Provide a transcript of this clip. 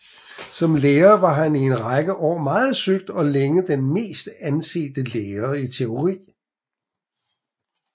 Som lærer var han i en række år meget søgt og længe den mest ansete lærer i teori